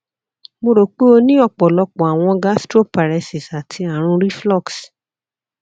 mo ro pe o ni ọpọlọpọ awọn gastroparesis ati arun reflux